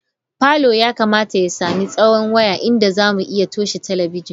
Parlour yakamata ya sami tsawo waya inda zamu iya toshe talabijin.